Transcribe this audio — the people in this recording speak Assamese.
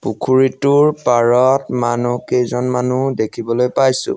পুখুৰীটোৰ পাৰত মনুহকেইজনমানো দেখিবলৈ পাইছোঁ।